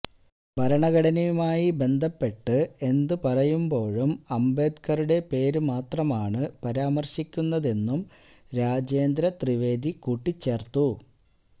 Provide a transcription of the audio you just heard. ഭരണഘടനയുമായി ബന്ധപ്പെട്ട് എന്തു പറയുമ്പോഴും അംബേദ്കറുടെ പേര് മാത്രമാണ് പരാമര്ശിക്കുന്നതെന്നും രാജേന്ദ്ര ത്രിവേദി കൂട്ടിച്ചേര്ത്തു